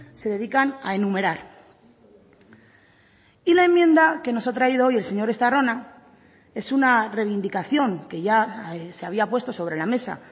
se dedican a enumerar y la enmienda que nos ha traído hoy el señor estarrona es una reivindicación que ya se había puesto sobre la mesa